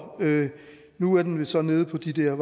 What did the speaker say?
nu er den vist så nede på de der